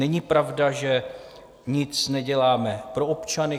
Není pravda, že nic neděláme pro občany.